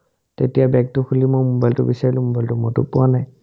তেতিয়া বেগটো খুলি মই মোবাইলটো বিচাৰিলো মোবাইলটো মইটো পোৱা নাই